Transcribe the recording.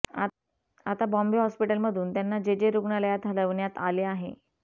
आता बॉम्बे हॉस्पिटलमधून त्यांना जेजे रुग्णालयात हलवण्यात आले आहे